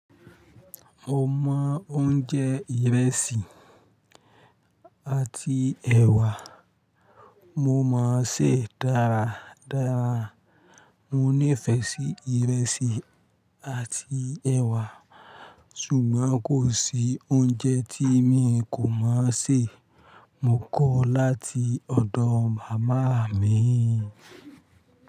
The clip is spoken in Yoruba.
Mo mọ oúnjẹ ìrẹsì àti ẹ̀wà, mo mon sè é dára dára. Mo nífẹ̀ẹ́ sí ìrẹsì àti ẹ̀wà, ṣùgbọ́n kò sí oúnjẹ tí mi kò máa sè. Mo kọ́ ọ́ láti ọ̀dọ̀ màmá mi.